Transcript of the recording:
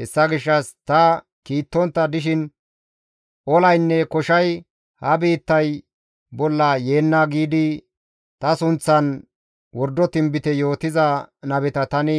Hessa gishshas ta kiittontta dishin, ‹Olaynne koshay ha biittay bolla yeenna› giidi ta sunththan wordo tinbite yootiza nabeta tani